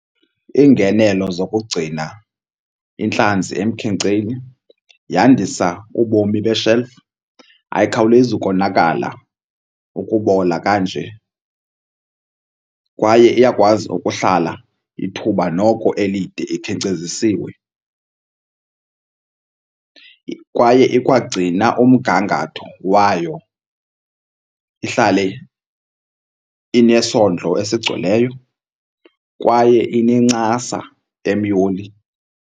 Iingenelo zokugcina intlanzi emkhenkceni yandisa ubomi beshelufu, ayikhawulezi ukonakala ukubola kanje kwaye iyakwazi ukuhlala ithuba noko elide ikhenkcezisiwe. Kwaye ikwagcina umgangatho wayo ihlale inesondlo esigcweleyo kwaye inencasa emyoli.